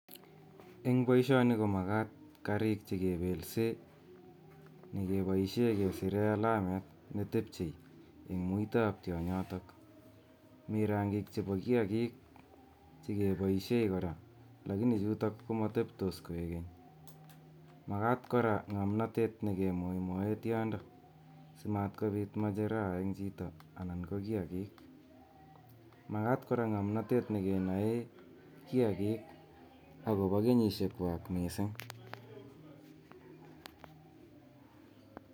En boisioni komakat karik chekebelsen akeboisien kesiren alamet netepchei en muitab tionyoto, mi rangik chepo kiaki chekeboisien kora lakini chuto komoteptos koikeny, makat kora ng'omnontet nekimoimoen tiondo simat kobit macheraa chito anan ko kiaki ,makat kora ng'omnontet nekenoe kiaki akopo kenyisiekwa mising.